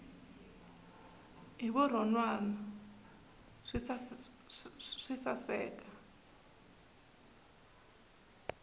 hi vurhon wana swi saseka